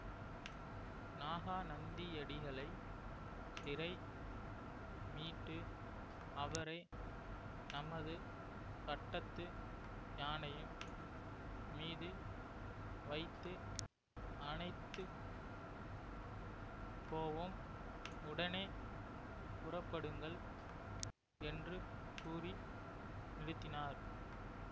நாகநந்தியடிகளைச் சிறை மீட்டு அவரை நமது பட்டத்து யானையின் மீது வைத்து அனைத்து போவோம் உடனே புறப்படுங்கள் என்று கூறி நிறுத்தினார்